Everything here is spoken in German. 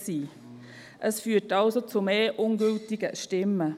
Dies führt also zu mehr ungültigen Stimmen.